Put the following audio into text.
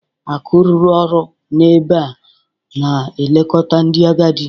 Akụ rụrụ ọrụ n'ebe a na-elekọta ndị agadi.